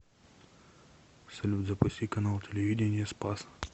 салют запусти канал телевидения спас